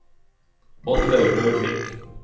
Oddlaug Rørvik